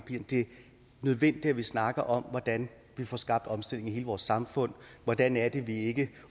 nødvendigt at vi snakker om hvordan vi får skabt omstillingen af hele vores samfund hvordan er det vi ikke